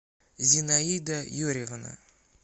зинаида юрьевна